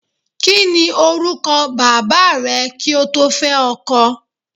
Kí ni orúkọ bàbáà rẹ kí o tó fẹ́ ọkọ?